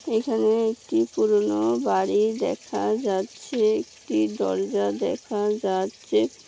এখানে একটি পুরানো বাড়ি দেখা যাচ্ছে। একটি দরজা দেখা যাচ্ছে।